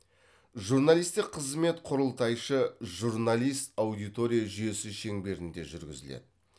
журналистік қызмет құрылтайшы журналист аудитория жүйесі шеңберінде жүргізіледі